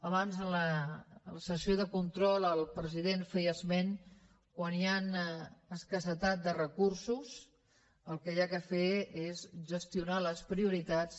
abans a la sessió de control el president feia esment que quan hi ha escassedat de recursos el que s’ha de fer és gestionar les prioritats